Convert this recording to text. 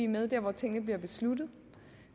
med der hvor tingene bliver besluttet